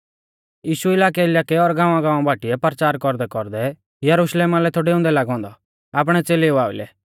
यीशु इलाकैइलाकै और गाँवागाँवा बाटीऐ परचार कौरदैकौरदै यरुशलेम लै थौ डेउंदै लागौ औन्दौ आपणै च़ेलेऊ आइलै